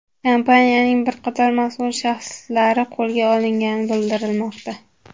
Kompaniyaning bir qator mas’ul shaxslari qo‘lga olingani bildirilmoqda.